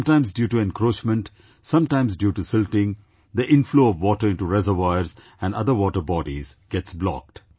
Sometimes due to encroachment, sometimes due to silting, the inflow of water into reservoirs and other water bodies gets blocked